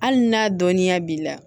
Hali n'a dɔnninya b'i la